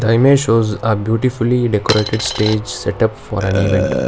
the image shows a beautifully decorated stage setup for an event.